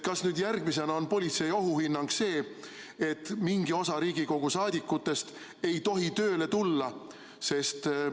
Kas nüüd järgmisena on politsei ohuhinnang see, et mingi osa Riigikogu liikmetest ei tohi tööle tulla?